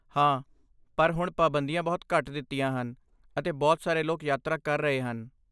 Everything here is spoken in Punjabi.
ਹਾਂ, ਪਰ ਹੁਣ ਪਾਬੰਦੀਆਂ ਬਹੁਤ ਘੱਟ ਦਿੱਤੀਆਂ ਹਨ ਅਤੇ ਬਹੁਤ ਸਾਰੇ ਲੋਕ ਯਾਤਰਾ ਕਰ ਰਹੇ ਹਨ।